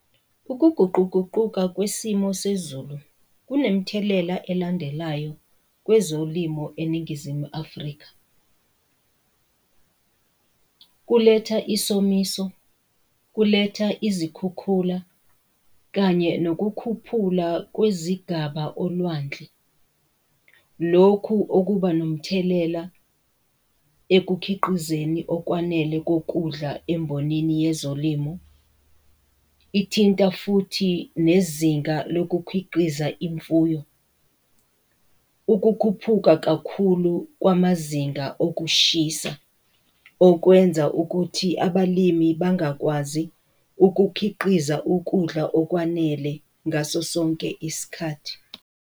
Ukuguquguquka kwesimo sezulu kunemthelela elandelayo kwezolimo eNingizimu Afrika. Kuletha isomiso, kuletha izikhukhula, kanye nokukhuphula kwezigaba olwandle. Lokhu okuba nomthelela ekukhiqizeni okwanele kokudla embhonini yezolimo, ithinta futhi nezinga lokukhiqiza imfuyo, ukukhuphuka kakhulu kwamazinga okushisa okwenza ukuthi abalimi bangakwazi ukukhiqiza ukudla okwanele ngaso sonke isikhathi.